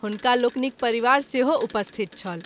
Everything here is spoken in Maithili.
हुनका लोकनिक परिवार सेहो उपस्थित छल।